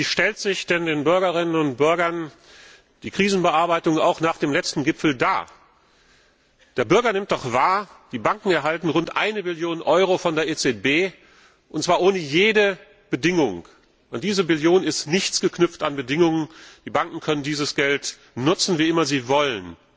Wie stellt sich denn den Bürgerinnen und Bürgern die Krisenbearbeitung nach dem letzten Gipfel dar? Der Bürger nimmt doch wahr, die Banken erhalten rund 1 Billion Euro von der EZB, und zwar ohne jede Bedingung. An diese Billion sind keine Bedingungen geknüpft, die Banken können dieses Geld nutzen, wie immer sie wollen.